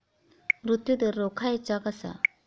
मृत्यूदर रोखायचा कसा?